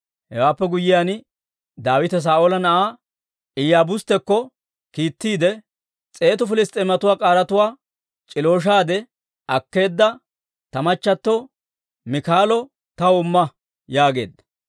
Hewaappe guyyiyaan, Daawite Saa'oola na'aa Iyaabusettuwaakko kiittiide, «S'eetu Piliss's'eematuwaa k'aaratuwaa c'ilooshaade akkeedda ta machchatto Miikaalo taw imma» yaageedda.